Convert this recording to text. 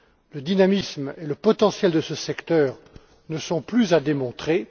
Le dynamisme et le potentiel de ce secteur ne sont plus à démontrer.